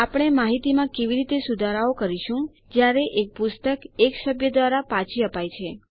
આપણે માહિતીમાં કેવી રીતે સુધારાઓ કરીશું જયારે એક પુસ્તક એક સભ્ય દ્વારા પાછી અપાય છે